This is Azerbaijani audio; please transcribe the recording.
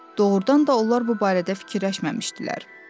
Doğrudan da onlar bu barədə fikirləşməmişdilər.